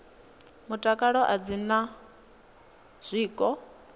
mutakalo a dzi na zwiko